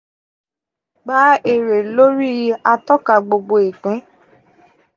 gba ere lori atọka gbogbo-ipin.